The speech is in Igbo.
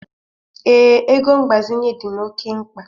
Ee, ego mgbazinye dị m oke mkpa.